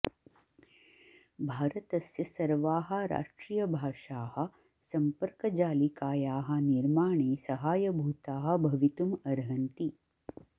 भारतस्य सर्वाः राष्ट्रियभाषाः सम्पर्कजालिकायाः निर्माणे सहायभूताः भवितुम् अर्हन्ति